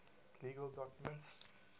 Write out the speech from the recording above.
legal documents